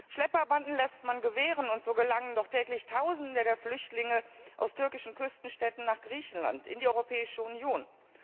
Schlepperbanden lässt man gewähren, und so gelangen doch täglich Tausende der Flüchtlinge aus türkischen Küstenstädten nach Griechenland, in die Europäische Union.